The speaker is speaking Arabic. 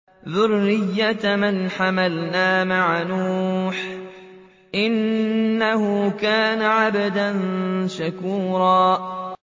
ذُرِّيَّةَ مَنْ حَمَلْنَا مَعَ نُوحٍ ۚ إِنَّهُ كَانَ عَبْدًا شَكُورًا